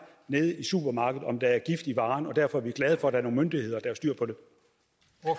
nede i supermarkedet om der er gift i varen og derfor er vi glade for at der er nogle myndigheder